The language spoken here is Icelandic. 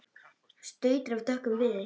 stautur af dökkum viði